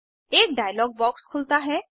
एक dialog box खुलता है